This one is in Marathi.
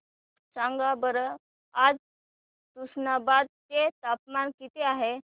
सांगा बरं आज तुष्णाबाद चे तापमान किती आहे